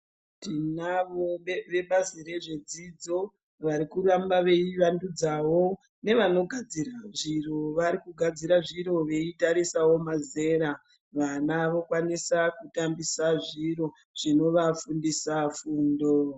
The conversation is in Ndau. Tinazvo vebazi rezvedzidzo varikuramba veiwandudzawo nevanogadzira zviro, varikugadzira zviro veitarisawo mazera. Vana vokwanisa kutambisa zviro zvinovafundisa fundo.